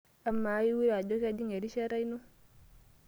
Amaa, iure ajo kejing erishata ino?